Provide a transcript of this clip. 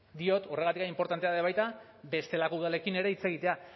diot horregatik inportantea da baita bestelako udalekin ere hitz egitea